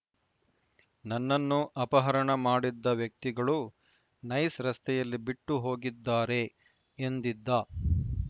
ನನ್ನನ್ನು ಅಪಹರಣ ಮಾಡಿದ್ದ ವ್ಯಕ್ತಿಗಳು ನೈಸ್‌ ರಸ್ತೆಯಲ್ಲಿ ಬಿಟ್ಟು ಹೋಗಿದ್ದಾರೆ ಎಂದಿದ್ದ